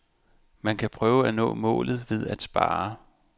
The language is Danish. Man kan prøve at nå målet ved at spare.